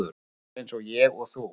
Fólk eins og ég og þú.